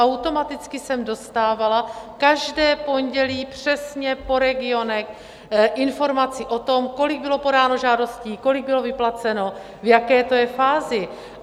Automaticky jsem dostávala každé pondělí přesně po regionech informaci o tom, kolik bylo podáno žádostí, kolik bylo vyplaceno, v jaké to je fázi.